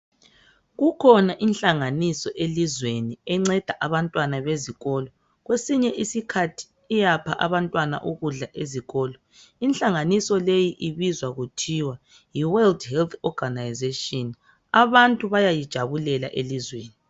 kukhona inhlanganiso elizweni enceda abantwana bezikolo kwesinye isikhathi iyapha abantwana ukudla ezikolo inhlanganiso le ibizwa kuthiwayi World Health Organization abantu bayayijabulela elizweni